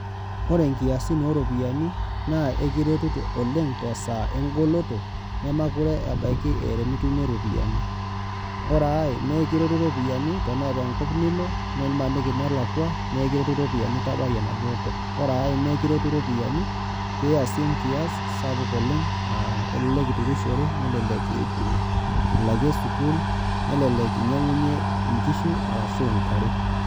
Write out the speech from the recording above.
Ore inkiasin oropiyian naa ekiretu oleng' tesaa enkoloto nemekure ebaiki eeta enitumie iropiyiani. Ore ai naakiteru iropiyiani tenaata enkop nilo nimaniki nelakua nikiretu iropiyiani tabai enaduo kop. Ore naa ekiretu iropiyiani pee iyasie enkias sapuk oleng' aa elelek iturushere nelelek ilakie sukuul, nelelek nyiangunyie inkishu arashu intare.